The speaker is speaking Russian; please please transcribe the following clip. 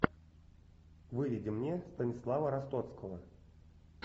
выведи мне станислава ростоцкого